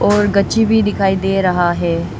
और गच्ची भी दिखाई दे रहा है।